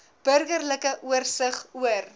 burgerlike oorsig oor